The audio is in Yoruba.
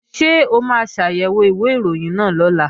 Ṣé o máa ṣàyẹ̀wò ìwé ìròyìn náà lọ́la?